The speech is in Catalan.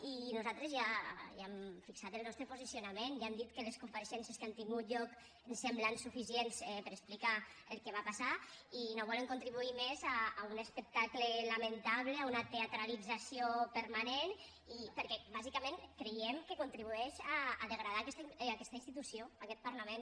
i nosaltres ja hi hem fixat el nostre posicionament ja hem dit que les compareixences que han tingut lloc ens semblen suficients per a explicar el que va passar i no volem contribuir més a un espectacle lamentable a una teatralització permanent perquè bàsicament creiem que contribueix a degradar aquesta institució aquest parlament